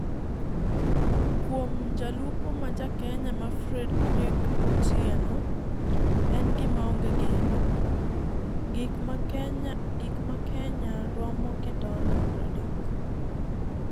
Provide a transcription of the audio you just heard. Kuom jalupo ma ja Kenya ma Frederike Otieno, en gima onge geno. Gik ma Kenya romo gi dola 30;